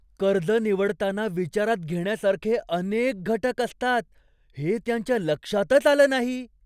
कर्ज निवडताना विचारात घेण्यासारखे अनेक घटक असतात हे त्यांच्या लक्षातच आलं नाही!